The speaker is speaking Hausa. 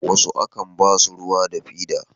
wasu a kan basu ruwa da fida